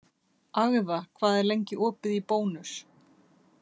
Agða, hvað er lengi opið í Bónus?